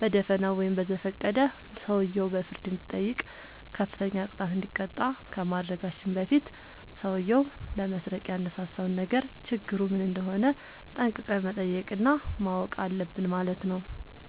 በደፋናው ወይም በዘፈቀደ ሰውየው በፍርድ እንዲጠይቅ፤ ከፍተኛ ቅጣት እንዲቀጣ ከማድረጋችን በፊት ሠውዬው ለመስረቅ ያነሳሳውን ነገር ችግሩ ምን እንደሆነ ጠንቅቀን መጠየቅ እና ማወቅ አለብን ማለት ነው።